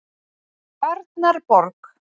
Tjarnarborg